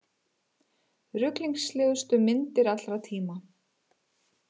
Ruglingslegustu myndir allra tíma